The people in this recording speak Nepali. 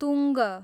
तुङ्ग